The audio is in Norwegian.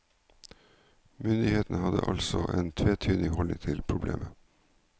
Myndighetene hadde altså en tvetydig holdning til problemet.